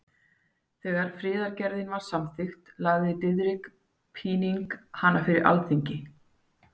Þegar friðargerðin var samþykkt lagði Diðrik Píning hana fyrir Alþingi.